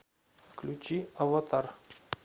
включи аватар